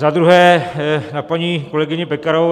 Za druhé na paní kolegyni Pekarovou.